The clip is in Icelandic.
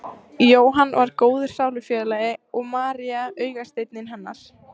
Jóhann var góður sálufélagi og María augasteinninn hennar.